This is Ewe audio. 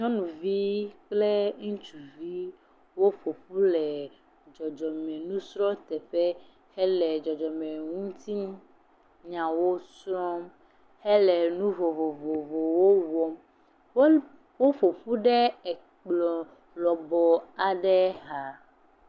Nyɔnuvi kple ŋusuvi, woƒoƒu le dzɔdzɔ me nufia teƒe hele dzɔdzɔ me ŋutinyawo srɔ̃hele nu vovovowo wɔm. Wo, wo ƒoƒu ɖe kpɔ lɔbɔ aɖe xa.